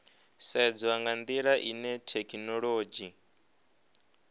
sedzwa nga ndila ine thekhinolodzhi